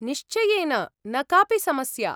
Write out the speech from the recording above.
निश्चयेन! न कापि समस्या।